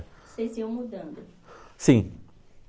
Vocês iam mudando? Sim.